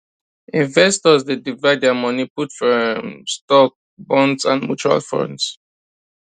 investors dey divide their money put for um stocks bonds and mutual funds